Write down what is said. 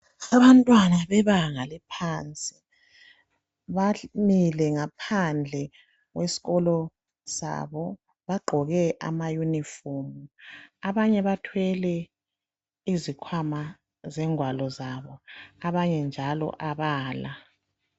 Abantwana bebanga laphansi bamile ngaphandle kwesikolo sabo bagqoke ama uniform abanye bathwele izikhwama zengwalo zabo abanye njalo abala.